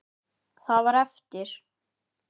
Það var eftir.